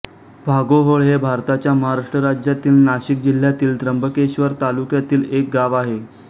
भागोहोळ हे भारताच्या महाराष्ट्र राज्यातील नाशिक जिल्ह्यातील त्र्यंबकेश्वर तालुक्यातील एक गाव आहे